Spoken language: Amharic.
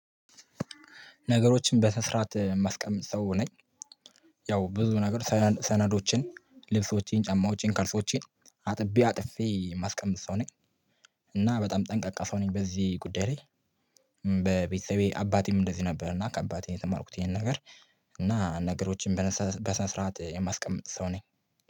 ነገሮችን በስነ ስርዓት ማስቀመጥ ሰው ነኝ። ያው ብዙ ነገር ሰነዶችን ልብሶቼን ጫማዎቼን ካልሲዎቼን አጥቤ አጥፌ የማስቀምጥ ሰው ነኝ። እና በጣም ጠንቃቃ ሰው ነኝ በዚህ ጉዳይ ላይ። በቤተሰቤ አባቴም እንደዚህ ነበር እና ከአባቴ የተማርኩት ይሄን ነገር። እና ነገሮችን በስነ ስርዓት የማስቀምጥ ሰው ነኝ